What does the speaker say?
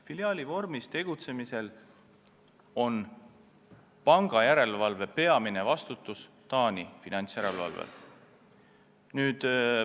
Filiaali vormis tegutsemise korral on peamine pangajärelevalve vastutus Taani finantsjärelevalvel.